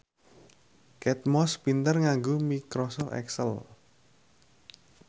Kate Moss pinter nganggo microsoft excel